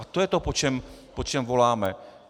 A to je to, po čem voláme.